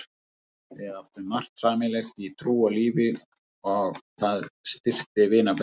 Við áttum margt sameiginlegt í trú og lífi og það styrkti vinaböndin.